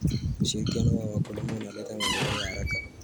Ushirikiano wa wakulima unaleta maendeleo ya haraka.